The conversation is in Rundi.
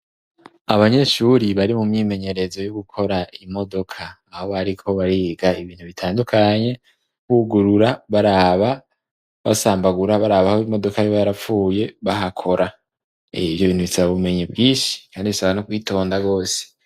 Abanyeshuri bari mu myimenyerezo yo gukora imodoka, aho bariko bariga ibintu bitandukanye, bugurura, baraba, basambagura baraba aho imodoka yoba yarapfuye bahakora. Ivyo bintu bisababumenyi bwinshi, kandi bisaba no kwitonda gose.